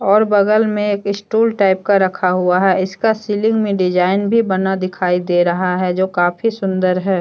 और बगल में एक स्टूल टाइप का रखा हुआ है इसका सीलिंग में डिजाइन भी बना दिखाई दे रहा है जो काफी सुंदर है।